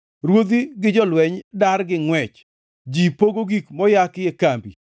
“Ruodhi gi jolweny dar gi ngʼwech; ji pogo gik moyaki e kambi.